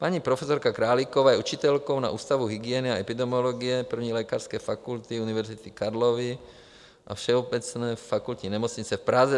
Paní profesorka Králíková je učitelkou na Ústavu hygieny a epidemiologie I. lékařské fakulty Univerzity Karlovy a Všeobecné fakultní nemocnice v Praze.